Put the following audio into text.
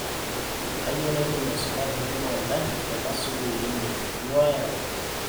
kayieu naiteru aisuma tenebo o ntae tenaa sukuul inyi, nyoo ayau